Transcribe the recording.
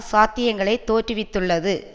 சாத்தியங்களை தோற்றுவித்துள்ளது